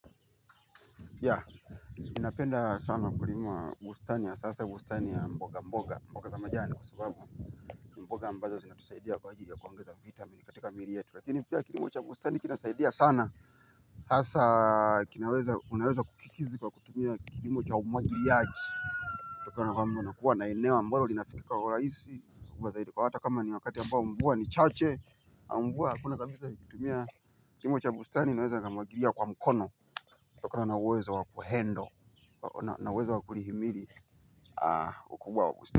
Ya, napenda sana kulimua bustani hasa hasa bustani ya mboga mboga, mboga za majani kwa sababu mboga ambazo zinatusaidia kwa ajili ya kuongeza vitamini katika miili yetu, lakini pia kilim ocha bustani kinasaidia sana hasa kinaweza, unaweza kukikizi kwa kutumia kilimo cha umwagiliaji unatakikana kwamba kuwa na eneo ambalo linafikika kwa urahisi. Kwa zaidi kwa hata kama ni wakati ambao mvua ni chache. Mvua hakuna kabisa nikitumia kilimo cha bustani naweza nikamwagilia kwa mkono kutokana na uwezo wa kuhendo nin uwez wa kulihimili ukubwa wa bustani.